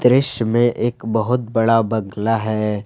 दृश्य में एक बहुत बड़ा बंगला है।